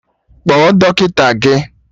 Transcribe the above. Kpọọ dọkịta gị!